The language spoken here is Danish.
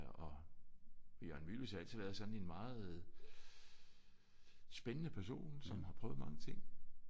Og Jørgen Mylius har altid været sådan en meget spændende person som har prøvet mange ting